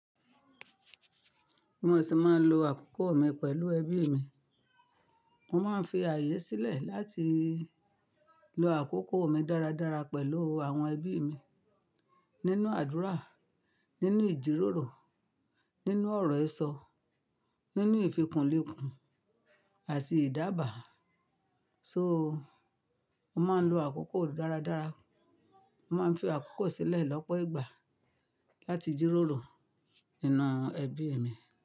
Mo sì máa ń lo àkókò mi pẹ̀lú ẹbí mi. Mo máa ń fi ààyè sílẹ̀ láti lo àkókò mi dáradára pẹ̀lú àwọn ẹbí mi nínú àdúrà, nínú ìjíròrò, nínú ọ̀rọ̀ ìsọ, nínú ìfìkúnlẹ̀kùn àti ìdábàá. So, mo máa ń lo àkókò dáradára. Mo máa ń fi àkókò sílẹ̀ lọ́pọ̀ ìgbà láti jíròrò iná ẹbí mi.